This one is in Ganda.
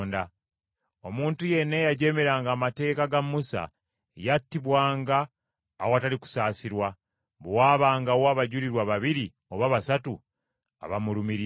Omuntu yenna eyajeemeranga amateeka ga Musa yattibwanga awatali kusaasirwa, bwe waabangawo abajulirwa babiri oba basatu abamulumiriza.